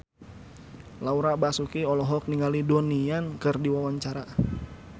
Laura Basuki olohok ningali Donnie Yan keur diwawancara